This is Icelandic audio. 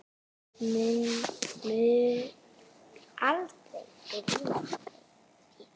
Mun aldrei gleyma þér, Ingi.